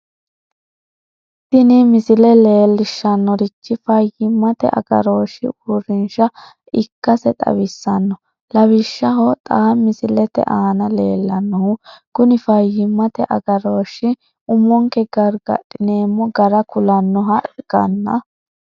tini misile leellishshannorichi fayyimmate agarooshshi uurrinshsha ikkase xawissanno lawishshaho xa misilete aana leellannohu kuni fayyimmate agarooshshi umonke gargadhineemmo gara kulannoha ikkanna.